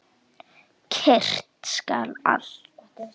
Kyrrt skal allt.